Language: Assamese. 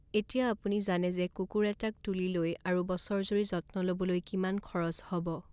এতিয়া আপুনি জানে যে কুকুৰ এটাক তুলি লৈ আৰু বছৰজুৰি যত্ন ল'বলৈ কিমান খৰচ হ'ব।